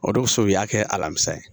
O de kosɔn u y'a kɛ alamisa ye